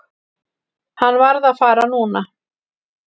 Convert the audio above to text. Hann varð að fara núna.